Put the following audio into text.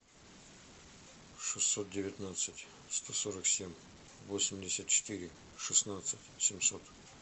шестьсот девятнадцать сто сорок семь восемьдесят четыре шестнадцать семьсот